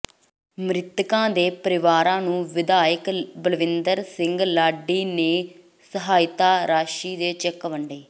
ਮਿ੍ਤਕਾਂ ਦੇ ਪਰਿਵਾਰਾਂ ਨੂੰ ਵਿਧਾਇਕ ਬਲਵਿੰਦਰ ਸਿੰਘ ਲਾਡੀ ਨੇ ਸਹਾਇਤਾ ਰਾਸ਼ੀ ਦੇ ਚੈੱਕ ਵੰਡੇ